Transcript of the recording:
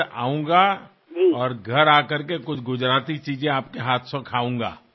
आणि घरी येऊन तुमच्या हातचे काही गुजराथी पदार्थ चाखणार आहे